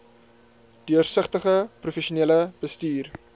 deursigtige professionele bestuur